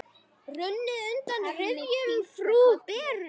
Runnið undan rifjum frú Beru.